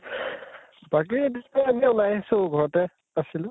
বাকী এনে ওলাই আহিছো ঘৰতে আছিলো।